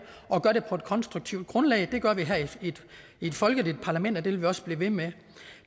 og gøre det på et konstruktivt grundlag det gør vi her i et folkeligt parlament og det vil vi også blive ved med